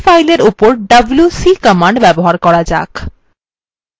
এখন আসুন এই file এর উপর wc command ব্যবহার করা যাক